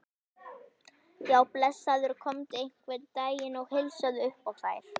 Já, blessaður komdu einhvern daginn og heilsaðu upp á þær.